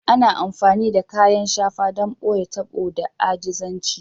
Ana amfani da kayan shafa don ɓoye tabo da ajizanci